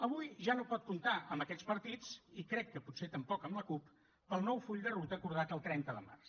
avui ja no pot comptar amb aquests partits i crec que potser tampoc amb la cup per al nou full de ruta acordat el trenta de març